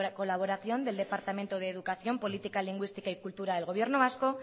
colaboración del departamento de educación política lingüística y cultura del gobierno vasco